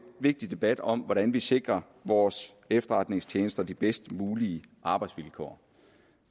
vigtig debat om hvordan vi sikrer vores efterretningstjeneste de bedst mulige arbejdsvilkår